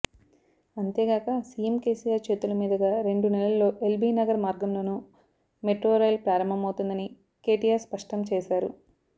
అంతేగాక సిఎం కెసిఆర్ చేతుల మీదుగా రెండు నెలల్లో ఎల్బినగర్ మార్గంలోనూ మెట్రో రైల్ ప్రారంభమవుతుందని కెటిఆర్ స్పష్టం చేశారు